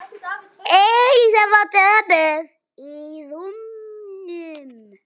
Elísa var döpur í rómnum.